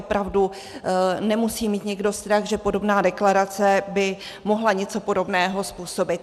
Opravdu nemusí mít nikdo strach, že podobná deklarace by mohla něco podobného způsobit.